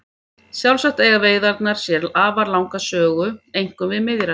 Sjálfsagt eiga veiðarnar sér afar langa sögu einkum við Miðjarðarhaf.